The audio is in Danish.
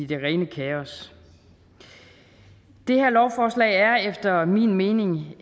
det rene kaos det her lovforslag er efter min mening